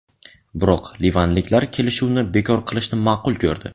Biroq livanliklar kelishuvni bekor qilishni ma’qul ko‘rdi.